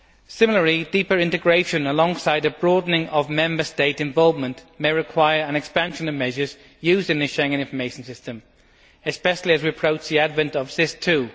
Similarly, deeper integration alongside a broadening of Member State involvement may require an expansion of measures used in the Schengen Information System, especially as we approach the advent of SIS II.